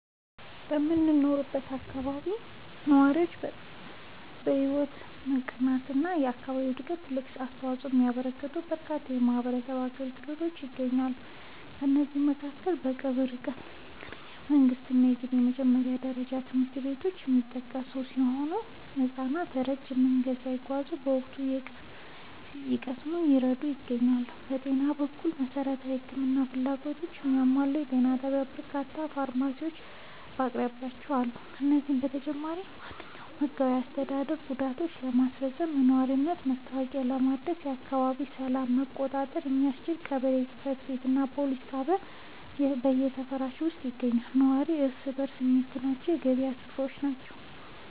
በምኖርበት አካባቢ ለነዋሪዎች ሕይወት መቃናትና ለአካባቢው ዕድገት ትልቅ አስተዋፅኦ የሚያበረክቱ በርካታ የማኅበረሰብ አገልግሎቶች ይገኛሉ። ከእነዚህም መካከል በቅርብ ርቀት ላይ የሚገኙ የመንግሥትና የግል የመጀመሪያ ደረጃ ትምህርት ቤቶች የሚጠቀሱ ሲሆን፣ ሕፃናት ረጅም መንገድ ሳይጓዙ እውቀት እንዲቀስሙ እየረዱ ይገኛሉ። በጤና በኩል፣ መሠረታዊ የሕክምና ፍላጎቶችን የሚያሟላ ጤና ጣቢያና በርካታ ፋርማሲዎች በአቅራቢያችን አሉ። ከዚህም በተጨማሪ፣ ማንኛውንም ሕጋዊና አስተዳደራዊ ጉዳዮችን ለማስፈጸም፣ የነዋሪነት መታወቂያ ለማደስና የአካባቢውን ሰላም ለመቆጣጠር የሚያስችል የቀበሌ ጽሕፈት ቤትና የፖሊስ ጣቢያ በሰፈራችን ውስጥ ይገኛሉ። ነዋሪው እርስ በርስ የሚገናኝባቸው የገበያ ሥፍራዎችና